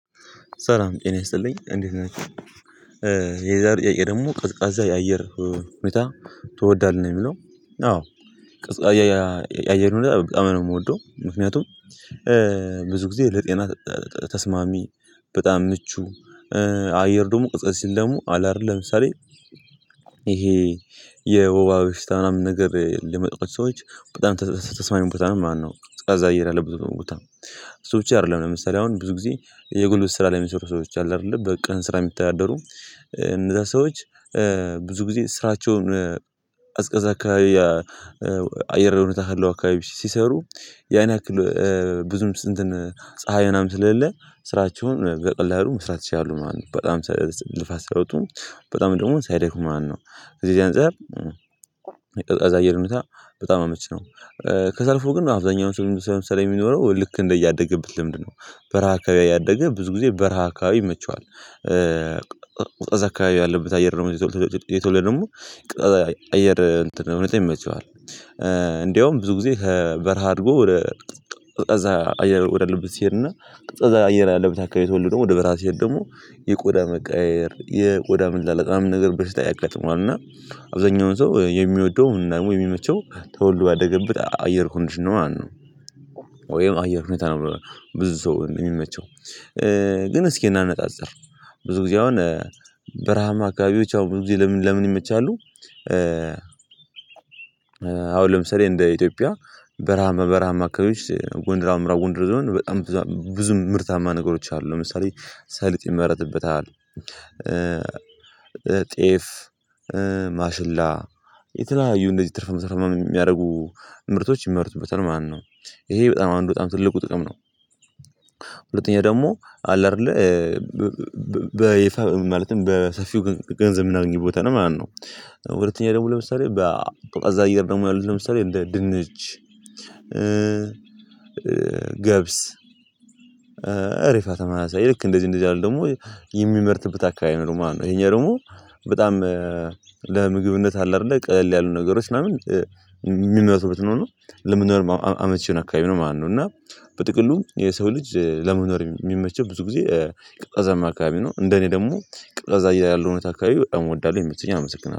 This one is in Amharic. ሰላም ጤና ይስጥልኝ እንዴት ናቸው? የዛሬው ጥያቄ ደግሞ ቀዝቃዛ የአየር ሁኔታ ትወዳለህ? ነው የሚለው አዎ ቀዝቃዛ ያያ ያየር ሁኔታ በጣም ነው የምወደው ምክንያቱም ብዙ ጊዜ ለጤና ተስማሚ በጣም ምቹ አየር ደግሞ ቀዝቀዝ ሲለ ደግሞ አለ አይደል ለምሳሌ ይሄ የወባ በሽታ ምናምን ነገር ለተጠቁ ሰዎች በጣም ተስማሚ ቦታ ማለት ነው ቀዝቃዛ አየር ያለበት ቦታ እሱ ብቻ አይደለም ለምሳሌ አሁን ብዙ ጊዜ የጉልበት ስራ ለሚሰሩ ሰዎች አሉ አይደለ በቃ ስራ የሚታደሩ እነዛ ሰዎች ብዙ ጊዜ ስራቸውን ቀዝቃዛ አካባቢ ያ አየር እውነት ካለው አካባቢ ሲሰሩ ያን ያክል ብዙም ስንትን ፀሀይ ምናምን ስለሌለ ስራቸውን በቀላሉ መስራት ይቻላሉ ማለት ነው በጣም ልፋት ሳይወጡ በጣም ደግሞ ሳይደክሙ ማለት ነው ከዚህ ከዚህ አንፃር ቀዝቃዛ አየር ሁኔታ በጣም አመች ነው ከዛ አልፎ ግን አብዛኛውን ሰው ለምሳሌ የሚኖረው ልክ እንደያደገበት ልምድ ነው በረሃ አካባቢ ያደገ ብዙ ጊዜ በረሃ አካባቢ ይመቸዋል ቀዝቃዛ አካባቢ ያለበት አየር ደግሞ የተወለ የተወልደ ደግሞ ቀዝቃዛ አየር እውነት ይመቸዋል እንደውም ብዙ ጊዜ ከበረሃ አድጎ ወደ ቀዝቃዛ አየር ወደ አለበት ሲሄድና ቀዝቃዛ አየር ያለበት አካባቢ ተወልዶ ወደ በረሃ ሲሄድ ደግሞ የቆዳ መቀያየር የቆዳ መላላጥ ምናምን ነገር በሽታ ያጋጥመዋል እና አብዛኛውን ሰው የሚወደውን ደግሞ የሚመቸው ተወልዶ ያደገበት አየር ኮንዲሽን ነው ማለት ነው ወይም አየር ሁኔታ ነው ብዙ ሰው የሚመቸው ግን እስኪ እናነጣጽር ብዙ ጊዜ አሁን በረሃማ አካባቢዎች አሁን ብዙ ጊዜ ለምን ለምን ይመቻሉ አሁን ለምሳሌ እንደ ኢትዮጵያ በረሃማ በረሃማ አካባቢዎች ጎንደር ምዕራብ ጎንደር ዞን በጣም ብዙ ብዙ ምርታማ ነገሮች አሉ ለምሳሌ ሰሊጥ ይመረትበታል ጤፍ ማሽላ የተለያዩ እንደዚህ ትርፍ መስራት የሚያደርጉ ምርቶች ይመረቱበታል ማለት ነው ይሄ በጣም አንዱ በጣም ትልቁ ጥቅም ነው ሁለተኛ ደግሞ አለ አይደለ በይፋ ማለትም በሰፊው ገንዘብ የምናገኝበት ቦታ ነው ማለት ነው ወደተኛ ደግሞ ለምሳሌ በአ ቀዝቃዛ አየር ደግሞ ያሉት ለምሳሌ እንደ ድንች ገብስ እሪፋ ተመላሳይ ልክ እንደዚህ እንደዚህ አይደለም ደግሞ የሚመርትበት አካባቢ ነው ማለት ነው የኛ ደግሞ በጣም ለምግብነት አለ አይደለ ቀል ያሉ ነገሮች ምናምን የሚመረቱበት ነው እና ለምንነው አመቺው አካባቢ ነው ማነው እና በጥቅሉ የሰው ልጅ ለመኖር የሚመቸው ብዙ ጊዜ ቀዝቃዛማ አካባቢ ነው እንደኔ ደግሞ ቀዝቃዛ አየር ያለውን አካባቢ እወዳለሁ የሚሉትን አመሰግናለሁ